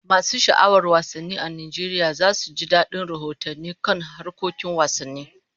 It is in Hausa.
Masu sha'awar wasanni a Najeriya za su ji dadin rahotanni kan harkokin wasanni.